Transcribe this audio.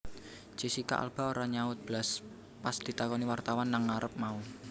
Jessica Alba ora nyaut blas pas ditakoni wartawan nang ngarep mau